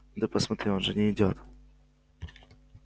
ну ты посмотри он же не идёт